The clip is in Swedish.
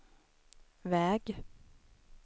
väg